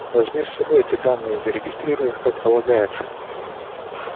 возьми с собой эти данные и зарегистрируй их как полагается